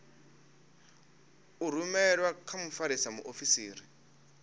i rumelwe kha mfarisa muofisiri